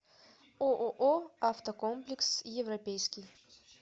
ооо автокомплекс европейский